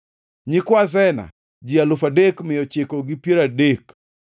nyikwa Sena, ji alufu adek mia ochiko gi piero adek (3,930).